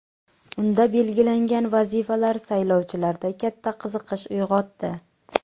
Unda belgilangan vazifalar saylovchilarda katta qiziqish uyg‘otdi.